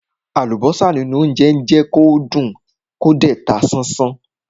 Àlùbọ́sà nínú óńjẹ jẹ́ kán dùn kán dẹ̀ ta sánsán.